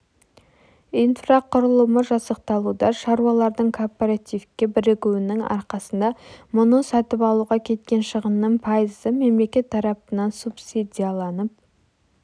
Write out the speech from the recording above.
инфрақұрылымы жасақталуда шаруалардың кооперативке бірігуінің арқасында мұны сатып алуға кеткен шығынның пайызы мемлекет тарапынан субсидияланып